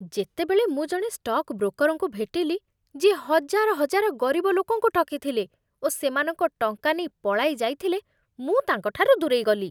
ଯେତେବେଳେ ମୁଁ ଜଣେ ଷ୍ଟକ୍ ବ୍ରୋକର୍‌ଙ୍କୁ ଭେଟିଲି, ଯିଏ ହଜାର ହଜାର ଗରିବ ଲୋକଙ୍କୁ ଠକିଥିଲେ ଓ ସେମାନଙ୍କ ଟଙ୍କା ନେଇ ପଳାଇ ଯାଇଥିଲେ, ମୁଁ ତାଙ୍କଠାରୁ ଦୂରେଇଗଲି।